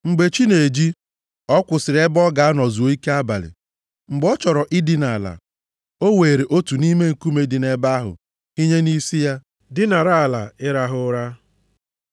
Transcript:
Mgbe chi na-eji, ọ kwụsịrị ebe ọ ga-anọ zuo ike abalị. Mgbe ọ chọrọ idina ala, o weere otu nʼime nkume ndị dị nʼebe ahụ hinye nʼisi ya, dinara ala ịrahụ ụra.